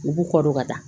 U b'u kɔ don ka taa